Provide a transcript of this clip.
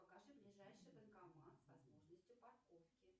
покажи ближайший банкомат с возможностью парковки